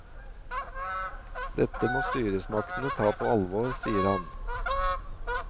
Dette må styresmaktene ta på alvor, sier han.